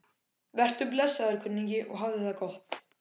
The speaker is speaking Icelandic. Vertu blessaður, kunningi, og hafðu það gott.